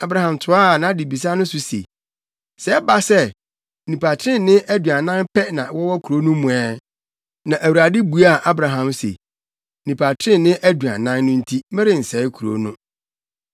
Abraham toaa nʼadebisa no so se, “Sɛ ɛba sɛ, nnipa trenee aduanan pɛ na wɔwɔ kurow no mu ɛ?” Na Awurade buaa Abraham se, “Nnipa trenee aduanan no nti, merensɛe kurow no.”